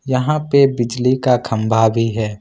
यहां पे बिजली का खंबा भी है।